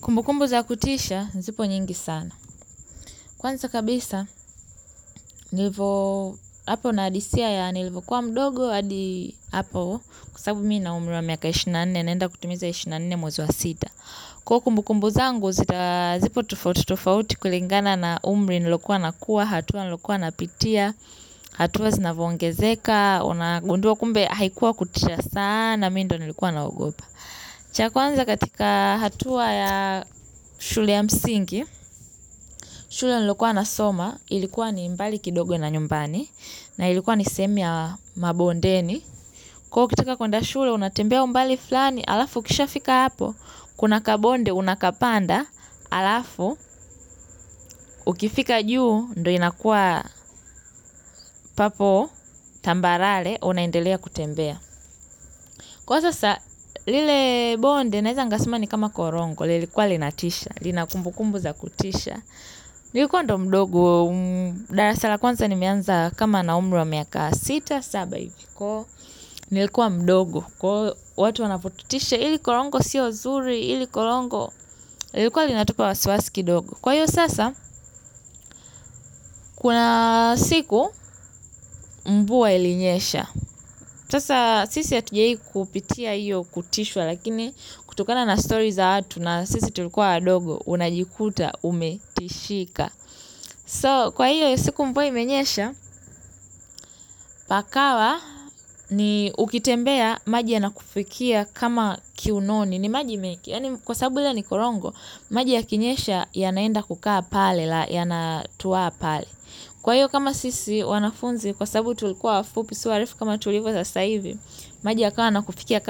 Kumbukumbu za kutisha, zipo nyingi sana. Kwanza kabisa, nilivo hapo na adithia ya, nilivyo kuwa mdogo, hadi hapo, kwa sababu mimi na umri wa miaka ishirini na nne, nenda kutumiza ishirini na nne mwexi wa sita. Kwa hivyo kumbukumbu zangu, zipo tofauti, tofauti kulingana na umri nilokuwa nakuwa, hatua nilokuwa napitia, hatua zinavongezeka, unagundua kumbe haikuwa kutisha sana, mimi ndyo nilikuwa naogopa. Cha kwanza katika hatua ya shule ya msingi, shule nilokua nasoma, ilikuwa ni mbali kidogo na nyumbani, na ilikuwa ni sehemu ya mabondeni. Kwa hivyo ukitaka kwenda shule, unatembea umbali flani, halafu ukisha fika hapo, kuna kabonde unakapanda, halafu, ukifika juu, ndyo inakua papo, tambarare, unaendelea kutembea. Kwa sasa lile bonde naeza nikasema ni kama korongo. Lilikuwa linatisha, lina kumbukumbu za kutisha. Nilikuwa ndyo mdogo, darasa la kwanza nimeanza kama nina umri wa miaka sita, saba hivi. Nilikuwa mdogo, kwa watu wanapotutisha hili korongo siyo zuri, hili korongo likikuwa linatupa wasiwasi kidogo. Kwa hiyo sasa, kuna siku mvua ilinyesha. Sasa sisi hatujawahi kupitia hiyo kutishwa lakini kutokana na story za watu na sisi tulikuwa unajikuta umetishika So kwa hiyo siku mvua imenyesha pakawa ni ukitembea maji yanakufikia kama kiunoni ni maji mengi kwa sababu hiyo ni korongo maji yakinyesha yanaenda kukaa pale yanatuwaa pale. Kwa hivyo, kama sisi wanafunzi kwa sababu tulikuwa wafupi sio warefu kama tulivyo sasa hivi, maji yakawa yanakufikia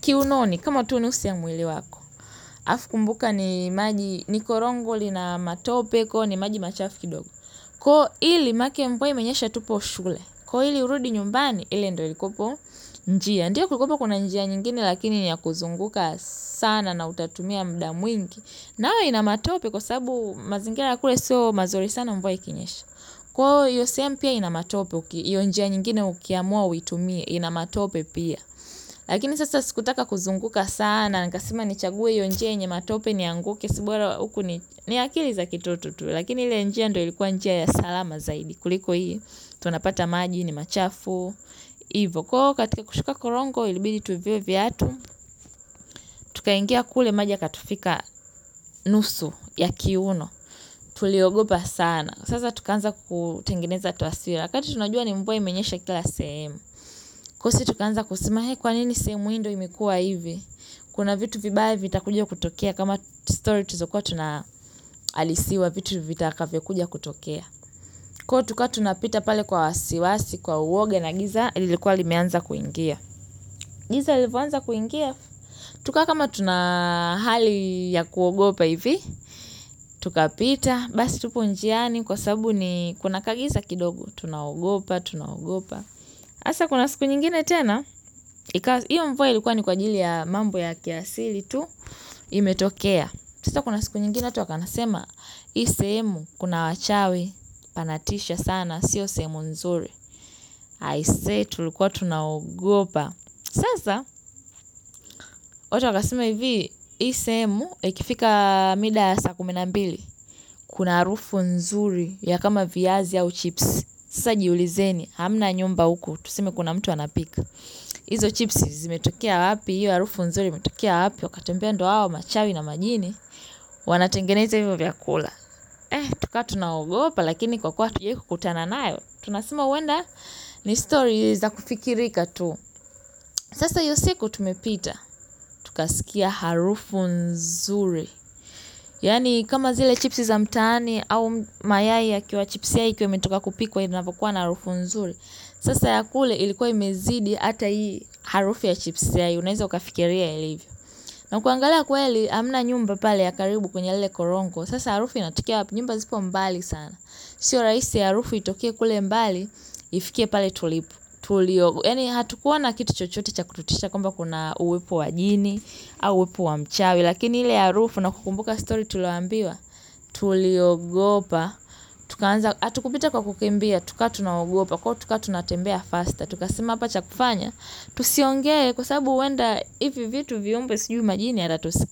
kiunoni kama tu nusu wa mwili wako. Halafu kumbuka ni korongo lina matope kwa hivyo ni maji machafu kidogo. Ili manake mvua imenyesha tupo shule koili kurudi nyimbani. Ile ndyo ilikuwa njia. Ndiyo kulikuwapo kuna njia nyingine lakini niyakuzunguka sana na utatumia muda mwingi. Nayo ina matope kwa sabu mazingira kule sio mazuri sana mvua ikinyesha. Kwa hiyo sehemu pia ina matope, hiyo njia nyingine ukiamua uitumie, ina matope pia. Lakini sasa sikutaka kuzunguka sana, nikasema nichagwe hiyo njia yenye matope nianguke, ni akili za kitoto tu, lakini ile njia ndyo ilikuwa njia ya salama zaidi. Kuliko hii, tunapata maji, ni machafu, ivo. Kwa hivyo katika kushuka korongo, ilibidi tuvue viatu, tukaingia kule maji yakatufika nusu ya kiuno. Tuliogopa sana. Sasa tukaanza kutengeneza taswira. Wakati tunajua ni mvua imenyesha kila sehemu. Sisi tukaanza kusema kwa nini sehemu hii ndyo imekuwa hivi. Kuna vitu vibaye vitakuja kutokea. Kama story tulizokuwa tunaaisiwa vitu vitakavyo kuja kutokea. Kwa hivyo tukawa tunapita pale kwa wasiwasi, kwa uoga na giza lilikuwa limeanza kuingia. Giza lilivyoanza kuingia. Tukawa kama tuna hali ya kuogopa hivi. Tukapita, basi tupo njiani kwa sabu ni kuna kagiza kidogo. Tunaogopa, tunaogopa hasa kuna siku nyingine tena. Iyo mvua ilikuwa ni kwa ajili ya mambo ya kiasili tu imetokea. Sasa kuna siku nyingine watu wakawa wanasema, hii semu kuna wachawi, panatisha sana, sio sehemu nzuri. Tulikuwa tunaogopa. Sasa. Watu wakasema hivi, hii sehemu ikifika mida saa kumi na mbili kuna harufu nzuri ya kama viazi au chips. Sasa jiulizeni hamna nyumba huku tuseme kuna mtu anapika izo chipsi zimetokea wapi hiyo harufu nzuri imetokea wapi. Wakatuambia ndyo hawa machawi na majini wanatengeneza hivyo vyakula. Tukawa tunaogopa lakini kwa kuwa hatujawahi kutana nao tunasema huenda ni story za kufikirika tu sasa hiyo siku tumepita. Tukasikia harufu nzuri yaani kama zile chipsi za mtaani au mayai yakiwa chipsi yai ikiwa imetokwa kupikwa inavyokuwa na harufu nzuri. Sasa ya kule ilikuwa imezidi. Hata hii harufu ya chips yai. Unaeza ukafikiria ilivyo na kuangala kweli hamna nyumba pale ya karibu kwenye lile korongo. Sasa harufu inatokea wapi? Nyumba zipo mbali sana. Sio rahisi harufu itokee kule mbali. Ifikie pale tulipo. Tuliogopa yaani hatukuona kitu chochote cha kututisha. Kwamba kuna uwepo wa jini au uwepo wa mchawi. Lakini ile harufu na kukumbuka story tulioambiwa. Tuliogopa. Tukawnza hatukupita kwa kukimbia. Tukawa tunaogopa. Tukawa tunatembea faster. Tukasema hapa cha kufanya, tusiongde kwa sababu huenda ihivi vitu viombe sijui majini yatatusikia.